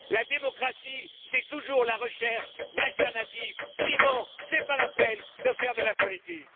La démocratie, c'est toujours la recherche d'alternatives, sinon, ce n'est pas la peine de faire de la politique.